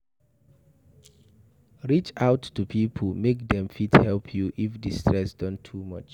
Reach out to pipo make dem fit help you if di stress don too much